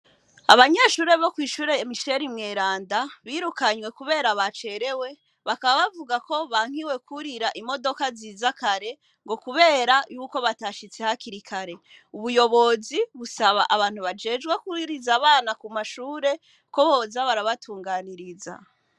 Abanyeshure bokwishure michel mweranda birukanwe kubera bacerewe bavuga ko bankiwe kurira imodoka kare kubera ko batashitse hakiri kare ubuyobozi busaba abantu bajejwe kuriza abanakumashure ko boza barabatunganiriza.